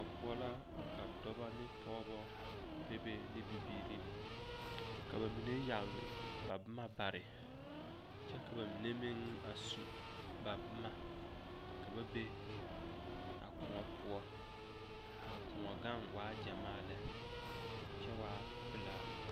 Kõɔ poɔ la ka dɔbɔ ne pɔgebɔ bebe ne bibiiri ka ba mine yagle ba boma bare kyɛ ka ba mine meŋ a su ba boma ka ba be a kõɔ poɔ ka a kõɔ gaŋ waa gyamaa lɛ kyɛ waa pelaa.